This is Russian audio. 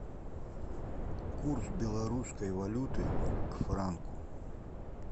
курс белорусской валюты к франку